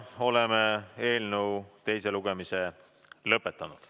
Oleme eelnõu teise lugemise lõpetanud.